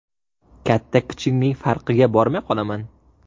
Katta-kichikning farqiga bormay qolaman.